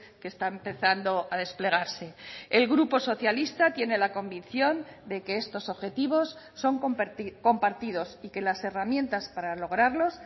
que está empezando a desplegarse el grupo socialista tiene la convicción de que estos objetivos son compartidos y que las herramientas para lograrlos